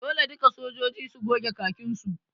Dole duka sojoji su goge khakin su!